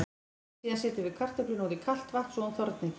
Síðan setjum við kartöfluna út í kalt vatn svo hún þorni ekki.